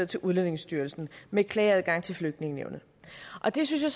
til udlændingestyrelsen med klageadgang til flygtningenævnet og det synes jeg